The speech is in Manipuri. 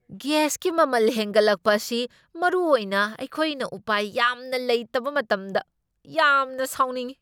ꯒ꯭ꯌꯥꯁꯀꯤ ꯃꯃꯜ ꯍꯦꯟꯒꯠꯂꯛꯄ ꯑꯁꯤ, ꯃꯔꯨꯑꯣꯏꯅ ꯑꯩꯈꯣꯏꯅ ꯎꯄꯥꯏ ꯌꯥꯝꯅ ꯂꯩꯇꯕ ꯃꯇꯝꯗ, ꯌꯥꯝꯅ ꯁꯥꯎꯅꯤꯡꯢ ꯫